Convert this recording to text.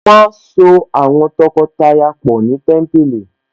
Wọ́n á so àwọn tọkọtaya pọ̀ ni Témípìlì